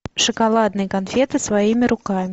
шоколадные конфеты своими руками